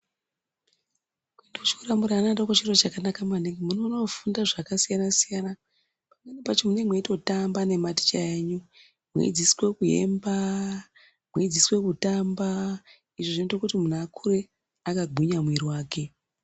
Kuenda kuchikora murivana vadoko chiro chakanaka maningi munonofunda zviro zvakasiyana-siyana. Pamweni pacho mune meitotamba nematicha enyu, mweidzidziswa kuimba mweidzidziswe kutamba. Izvi zvinoite kuti muntu akure akagwinya mwiri vake.